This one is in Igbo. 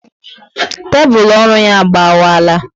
Tébulu ọrụ ya agbawala